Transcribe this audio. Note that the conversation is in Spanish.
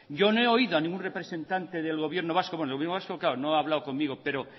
yo no he oído a ningún representante del gobierno vasco bueno el gobierno vasco no ha hablado conmigo claro